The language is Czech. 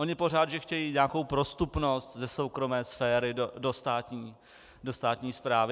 Oni pořád, že chtějí nějakou prostupnost ze soukromé sféry do státní správy.